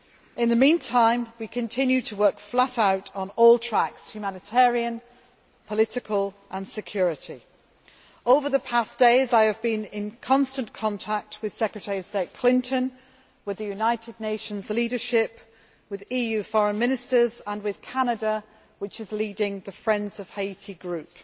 In the meantime, we continue to work flat out on all tracks humanitarian, political and security. Over the past days, I have been in constant contact with Secretary of State Clinton, with the United Nations leadership, with EU Foreign Ministers and with Canada, which is leading the Friends of Haiti' group